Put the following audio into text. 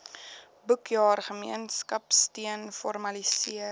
boekjaar gemeenskapsteun formaliseer